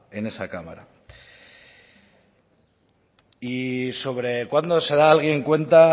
en esa en esa cámara y sobre cuando se da alguien cuenta